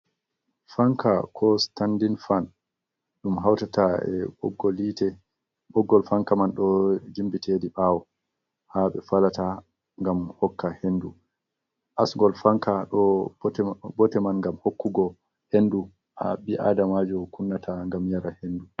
Fanka ko standin fan ɗum hautata e boggol hite. Ɓoggol fanka man ɗo jimbiti heɗi ɓawo ha ɓe falata ngam hokka hendu. Asgol fanka ɗo bote man gam hokkugo hendu ha ɓi adamajo kunnata ngam yara hendu.